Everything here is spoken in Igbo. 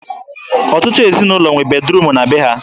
Ọtụtụ ezinụlọ nwere bediruum na be ha.